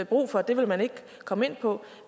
brug for det vil man ikke komme ind på